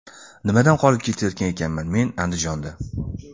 Nimadan qolib ketayotgan ekanman men Andijonda.